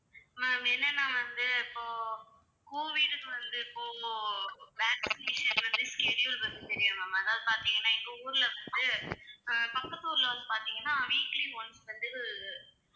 ma'am என்னன்னா வந்து இப்போ கோவிட்க்கு வந்து இப்போ vaccination வந்து schedule ma'am அதாவது பார்த்தீங்கன்னா எங்க ஊர்ல வந்து அஹ் பக்கத்து ஊர்ல வந்து பார்த்தீங்கன்னா weekly once வந்து